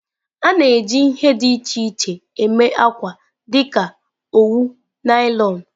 A na-eji ihe dị iche iche eme akwa dịka owu, naịlọn.